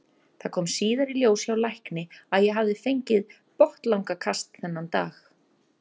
Það kom síðar í ljós hjá lækni að ég hafði fengið botnlangakast þennan dag.